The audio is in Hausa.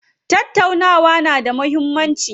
Tattaunawa na da muhimmanci.